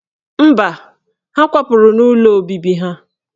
Mba, ha kwapụrụ n'ụlọ obibi ha